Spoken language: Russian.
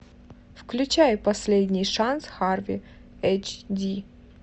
включай последний шанс харви эйч ди